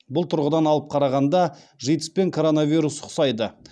бұл тұрғыдан алып қарағанда житс пен коронавирус ұқсайды